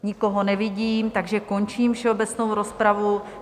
Nikoho nevidím, takže končím všeobecnou rozpravu.